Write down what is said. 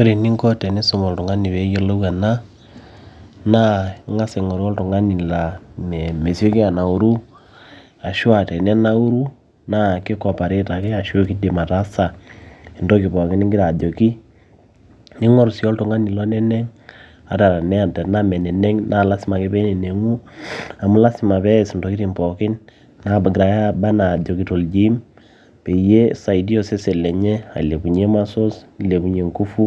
ore eninko tenisum oltung'ani peeyiolou ena, naa ing'as aing'oru oltung'ani laa mesioli anauru ashua tenenauru na ki cooperate ake ashu kidim ataasa entoki pooki ningira ajoki ning'oru sii oltung'ani loneneng ata tenaa naa lasima ake peeneneng'u amu lasima pees intokitin pookin nagirae aba ajoki toljim peyie isaidia osesen lenye ailepunyie muscles nilepunyie ngufu